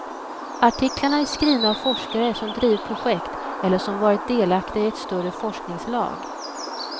Artiklarna är skrivna av forskare som drivit projekt eller som varit delaktiga i ett större forskningslag.